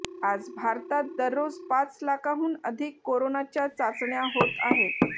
आज भारतात दररोज पाच लाखांहून अधिक कोरोनाच्या चाचण्या होत आहेत